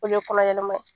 O ye kɔnɔ yɛlɛma ye